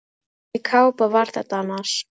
Hvernig kápa var þetta annars?